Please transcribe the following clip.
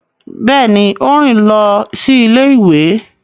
Béèni, o rin lọ sí ilé-ìwé